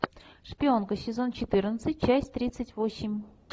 шпионка сезон четырнадцать часть тридцать восемь